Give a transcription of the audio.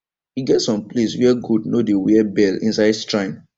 e get some place where goat no dey wear bell inside strine